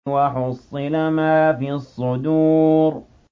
وَحُصِّلَ مَا فِي الصُّدُورِ